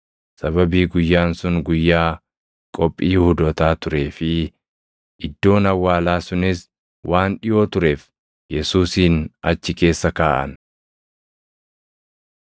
Sababii guyyaan sun guyyaa Qophii Yihuudootaa turee fi iddoon awwaalaa sunis waan dhiʼoo tureef Yesuusin achi keessa kaaʼan.